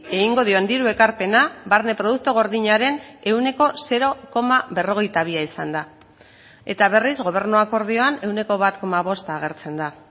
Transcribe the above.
egingo dion diru ekarpena barne produktu gordinaren ehuneko zero koma berrogeita bia izan da eta berriz gobernu akordioan ehuneko bat koma bosta agertzen da